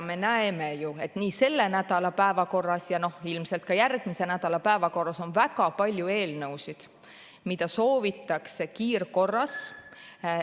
Me näeme ju, et selle nädala päevakorras ja ilmselt ka järgmise nädala päevakorras on väga palju eelnõusid, mida soovitakse kiirkorras...